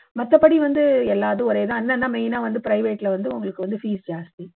மத்தபடி வந்து எல்லா இதும் ஒரே இது தான் என்னன்னா main ஆ private ல வந்து உங்களுக்கு வந்து fees ஜாஸ்தி